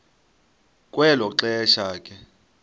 kwelo xesha ke